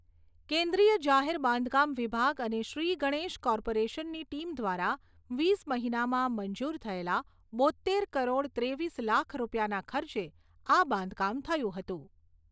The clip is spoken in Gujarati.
કેન્દ્રિય જાહેર બાંધકામ વિભાગ અને શ્રી ગણેશ કોર્પોરેશનની ટીમ દ્વારા વીસ મહિનામાં મંજુર થયેલા બોત્તેર કરોડ ત્રેવીસ લાખ રૂપિયાના ખર્ચે આ બાંધકામ થયું હતું.